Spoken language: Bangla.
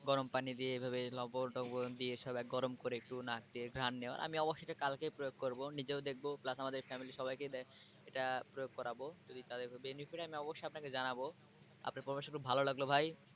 গরম পানি দিয়ে এভাবে লবন টবন দিয়ে সব গরম করে একটু নাক দিয়ে ঘ্রাণ নেওয়া আমি অবশ্যএটা কালকেই প্রয়োগ করব নিজেও দেখব plus আমাদের family র সবাইকে এটা প্রয়োগ করাবো যদি তাদের কোন benefit হয় আমি অবশ্যই আপনাকে জানাবো আপনার পরামর্শ খুব ভালো লাগলো ভাই।